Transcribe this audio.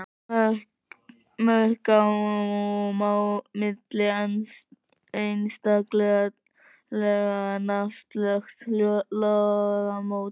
Mörk á milli einstakra laga nefnast lagamót.